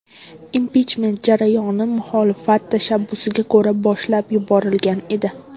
Impichment jarayoni muxolifat tashabbusiga ko‘ra boshlab yuborilgan edi.